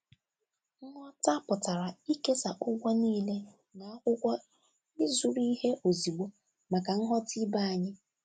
Nghọta pụtara ịkesa ụgwọ niile na akwụkwọ ịzụrụ ihe ozugbo maka nghọta ibe anyị.